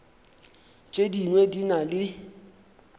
tše dingwe di na le